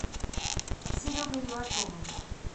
серегой левашовым